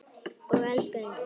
Og elskaði heitt.